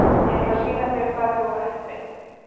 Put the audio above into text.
Ég ætla að sýna þér hvað þið voruð heppin.